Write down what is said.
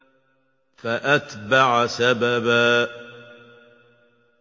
فَأَتْبَعَ سَبَبًا